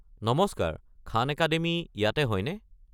নমস্কাৰ, Khan Academy ইয়াতে হয়নে?